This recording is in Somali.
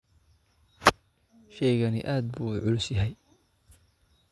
Shaygani aad buu u culus yahay